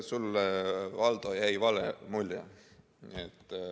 Sulle, Valdo, jäi vale mulje.